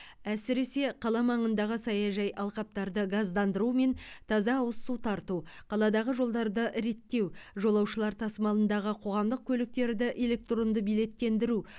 әсіресе қала маңындағы саяжай алқаптарды газдандыру мен таза ауыз су тарту қаладағы жолдарды реттеу жолаушылар тасымалындағы қоғамдық көліктерді электронды билеттендіру